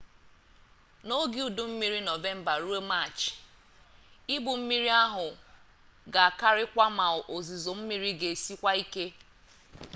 n’oge udu mmiri nọvemba ruo maachị ibu mmiri ahụ ga-akarịkwu ma ozizo mmiri ga-esikwa ike